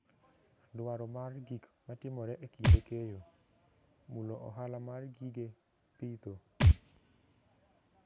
Dwaro mar gik matimore e kinde keyo, mulo ohala mar gige pidho.